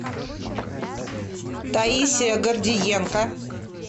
таисия гордиенко